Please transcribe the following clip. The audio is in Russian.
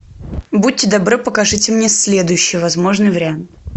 будьте добры покажите мне следующий возможный вариант